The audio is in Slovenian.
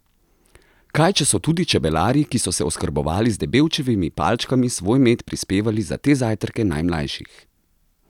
Kaj če so tudi čebelarji, ki so se oskrbovali z Debevčevimi palčkami, svoj med prispevali za te zajtrke najmlajših?